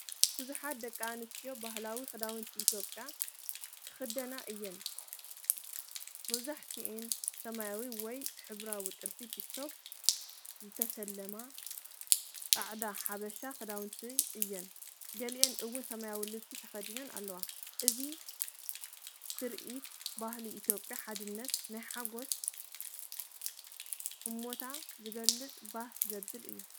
ብዙሓት ደቂ ኣንስትዮ ባህላዊ ክዳውንቲ ኢትዮጵያ ዝኽደና እየን- መብዛሕትአን ብሰማያዊ ወይ ሕብራዊ ጥልፊ (ቲክቶክ) ዝተሰለማ ጻዕዳ ሓበሻ ክዳውንቲ እየን። ገሊኦም እውን ሰማያዊ ልብሲ ተኸዲኖም ኣለዉ። እዚ ትርኢት ባህሊ ኢትዮጵያ፣ ሓድነት፣ ናይ ሓጎስ ህሞታት ዝገልጽ ባህ ዘብል እዩ።